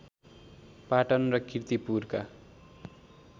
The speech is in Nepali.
पाटन र कीर्तिपुरका